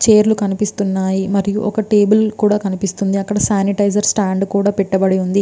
Chair లు కనిపిస్తున్నాయి. మరియు ఒక టేబుల్ కూడా కనిపిస్టుంది . అక్కడ శానిటైజర్ బాటిల్ పెట్టబడి ఉంది.